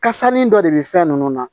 Kasannin dɔ de bɛ fɛn ninnu na